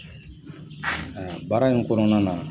Baara in kɔnɔna na